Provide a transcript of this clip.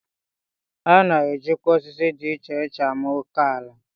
A na-ejikwa osisi dị icheiche ama oké ala